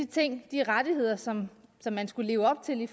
til de rettigheder som man skulle leve op til i